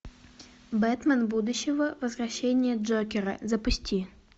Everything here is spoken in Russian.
бэтмен будущего возвращение джокера запусти